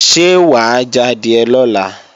Ṣé wà á jadìẹ lọ́la?